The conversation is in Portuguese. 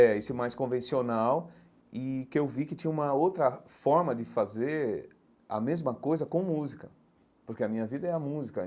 É, esse mais convencional e que eu vi que tinha uma outra forma de fazer a mesma coisa com música, porque a minha vida é a música.